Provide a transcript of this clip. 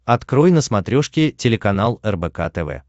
открой на смотрешке телеканал рбк тв